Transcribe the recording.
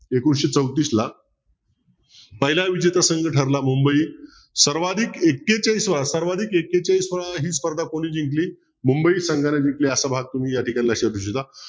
एकोणीशे चौतीसला पहिला विजेता संघ ठरला मुंबई सर्वाधिक एक्केचाळीस सर्वाधिक एक्केचाळीस ही स्पर्धा कोणी जिंकली मुंबई संघाने जिंकली असं या ठिकाणी लक्षात येत